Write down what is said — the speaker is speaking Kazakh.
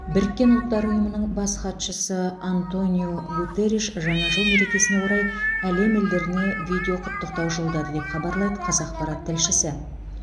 біріккен ұлттар ұйымының бас хатшысы антониу гутерриш жаңа жыл мерекесіне орай әлем елдеріне видеоқұттықтау жолдады деп хабарлайды қазақпарат тілшісі